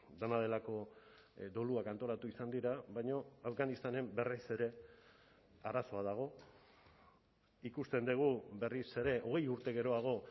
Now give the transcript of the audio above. dena delako doluak antolatu izan dira baina afganistanen berriz ere arazoa dago ikusten dugu berriz ere hogei urte geroago